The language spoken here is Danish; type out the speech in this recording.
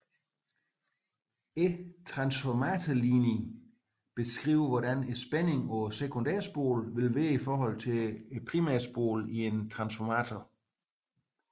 Transformatorligningen beskriver hvordan spændingen på sekundærspolen vil være i forhold til primærspolen i en transformator